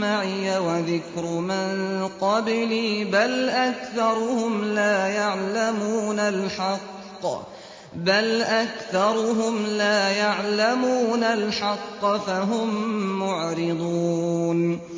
مَّعِيَ وَذِكْرُ مَن قَبْلِي ۗ بَلْ أَكْثَرُهُمْ لَا يَعْلَمُونَ الْحَقَّ ۖ فَهُم مُّعْرِضُونَ